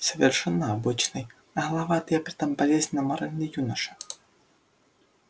совершенно обычный нагловатый и при том болезненно моральный юноша